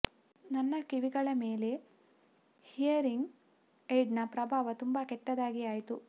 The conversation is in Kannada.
ನನ್ನ ಕಿವಿಗಳ ಮೇಲೆ ಹಿಯರಿಂಗ್ ಏಡ್ನ ಪ್ರಭಾವ ತುಂಬ ಕೆಟ್ಟದಾಗಿ ಆಯ್ತು